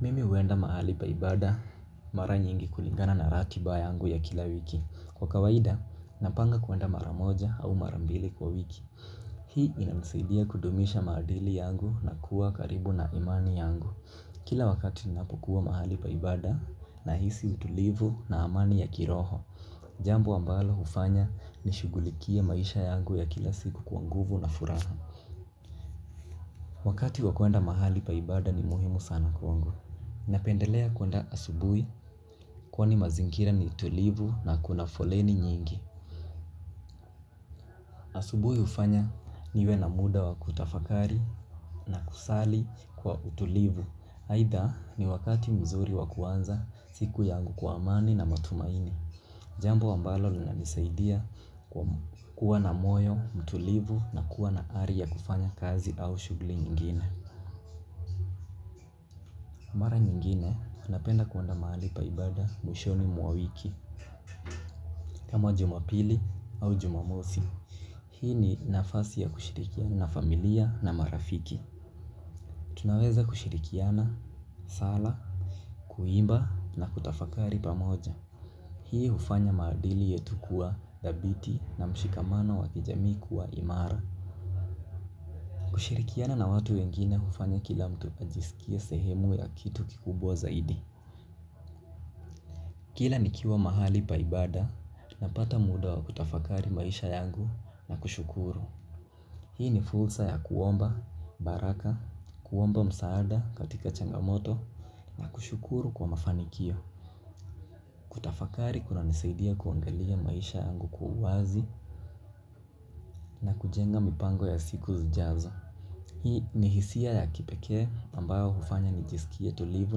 Mimi huenda mahali pa ibada mara nyingi kulingana na ratiba yangu ya kila wiki. Kwa kawaida, napanga kuenda mara moja au mara mbili kwa wiki. Hii inanisaidia kudumisha maadili yangu na kuwa karibu na imani yangu. Kila wakati ninapokua mahali pa ibada nahisi utulivu na amani ya kiroho. Jambo ambalo hufanya nishugulikie maisha yangu ya kila siku kwa nguvu na furaha. Wakati wa kuenda mahali pa ibada ni muhimu sana kwangu. Napendelea kuenda asubuhi kwani mazingira ni tulivu na kuna foleni nyingi. Asubuhi hufanya iwe na muda wa kutafakari na kusali kwa utulivu aidha ni wakati mzuri wa kuanza siku yangu kwa amani na matumaini. Jambo ambalo linanisaidia kwa kuwa na moyo, utulivu na kuwa na ari ya kufanya kazi au shughuli nyingine. Mara nyingine napenda kuenda mahali pa ibada mwishoni mwa wiki. Kama jumapili au jumamosi. Hii ni nafasi ya kushirikia na familia na marafiki. Tunaweza kushirikiana, sala, kuimba na kutafakari pamoja. Hii hufanya maadili yetu kuwa thabiti na mshikamano wa kijamii kuwa imara. Kushirikiana na watu wengine hufanya kila mtu ajisikie sehemu ya kitu kikubwa zaidi. Kila nikiwa mahali pa ibada napata muda wa kutafakari maisha yangu na kushukuru. Hii ni fursa ya kuomba, baraka, kuomba msaada katika changamoto, na kushukuru kwa mafanikio. Kutafakari kunanisaidia kuangalia maisha yangu kwa uwazi, na kujenga mipango ya siku zijazo. Hii ni hisia ya kipekee ambayo hufanya nijisikie tulivu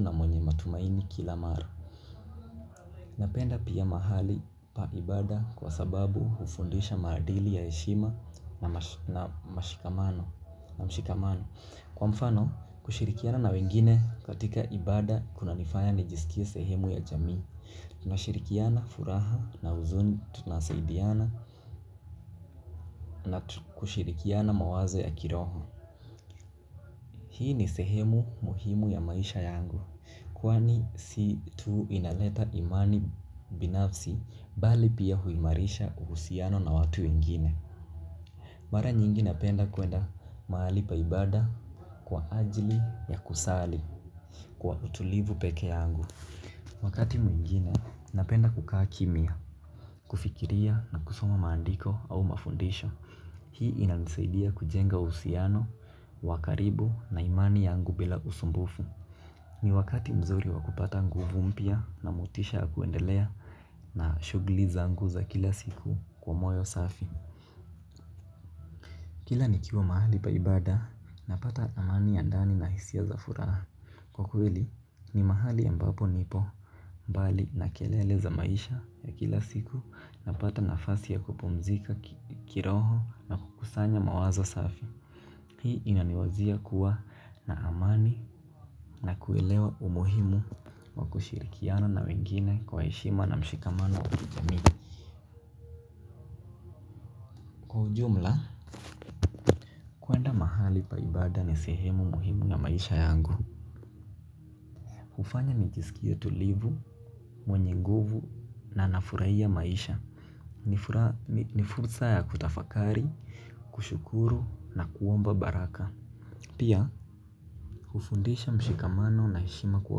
na mwenye matumaini kila mara. Napenda pia mahali pa ibada kwa sababu hufundisha maadili ya heshima na mshikamano. Na mshikamano. Kwa mfano, kushirikiana na wengine katika ibada kunanifaya nijisikie sehemu ya jamii. Tunashirikiana furaha na huzuni tunasaidiana na kushirikiana mawazo ya kiroho. Hii ni sehemu muhimu ya maisha yangu. Kwani si tuu inaleta imani binafsi bali pia huimarisha uhusiano na watu wengine. Mara nyingi napenda kuenda mahali pa ibada kwa ajili ya kusali kwa utulivu peke yangu. Wakati mwingine napenda kukaa kimya, kufikiria na kusoma maandiko au mafundisho. Hii inanisaidia kujenga uhusiano, wa karibu na imani yangu bila usumbufu. Ni wakati mzuri wa kupata nguvu mpya na motisha kuendelea na shughuli zangu za kila siku kwa moyo safi. Kila nikiwa mahali pa ibada napata amani ya ndani na hisia za furaha. Kwa kweli ni mahali ambapo nipo. Mbali na kelele za maisha ya kila siku napata nafasi ya kupumzika kiroho kusanya mawazo safi. Hii inaniwazia kuwa na amani na kuelewa umuhimu wa kushirikiana na wengine kwa heshima na mshikamano kwenye jamii. Kwa ujumla kuenda mahali pa ibada ni sehemu muhimu ya maisha yangu. Hufanya nijisikie tulivu, mwenye nguvu na nafurahia maisha. Ni fursa ya kutafakari, kushukuru na kuomba baraka. Pia hufundisha mshikamano na heshima kwa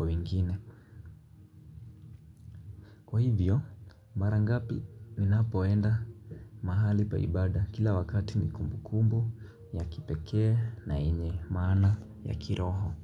wengine. Hivyo, mara ngapi ninapoenda mahali pa ibada kila wakati ni kumbu kumbu ya kipekee na yenye maana ya kiroho.